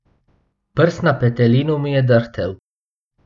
Prst na petelinu mi je drhtel.